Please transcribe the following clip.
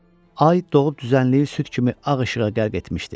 Ay doğub düzənliyi süd kimi ağ işığa qərq etmişdi.